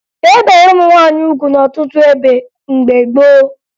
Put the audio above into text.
E bere ụmụ nwaanyị ugwu n'ọtụtụ ebe mgbe gboo